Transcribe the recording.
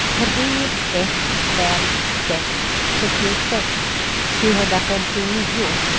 tre ett fem sex sjuttiosex sjuhundrafemtionio